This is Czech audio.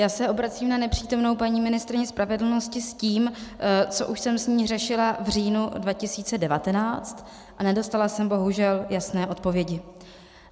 Já se obracím na nepřítomnou paní ministryni spravedlnosti s tím, co už jsem s ní řešila v říjnu 2019, a nedostala jsem bohužel jasné odpovědi.